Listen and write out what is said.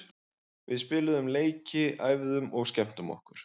Við spiluðum leiki, æfðum og skemmtum okkur.